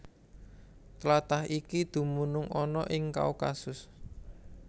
Tlatah iki dumunung ana ing Kaukasus